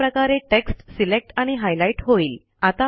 अशा प्रकारे text select आणि हायलाईट होईल